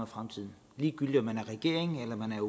fremtiden ligegyldigt om man er regering eller man er